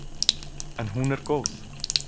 En hún er góð.